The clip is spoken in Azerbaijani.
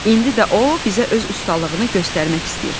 İndi də o bizə öz ustalığını göstərmək istəyir.